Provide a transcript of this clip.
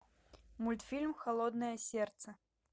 мультфильм холодное сердце